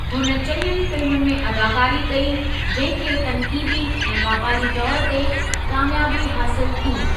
हुन चङियुनि फ़िल्मुनि में अदाकारी कई, जंहिं खे तन्कीदी ऐं वापारी तौर ते कामियाबी हासिलु थी।